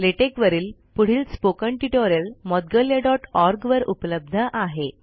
LaTeX वरील पुढील spoken tutorial moudgalyaओआरजी वर उपलब्ध आहे